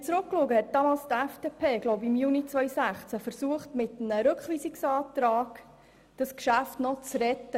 Ich glaube, damals im Juni 2016 versuchte die FDP mit einem Rückweisungsantrag das Geschäft noch zu retten.